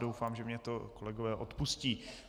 Doufám, že mně to kolegové odpustí.